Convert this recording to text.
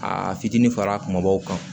Aa fitinin fara kumabaw kan